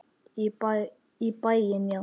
Í bæinn, já!